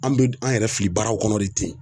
An be an yɛrɛ fili baaraw kɔnɔ de ten.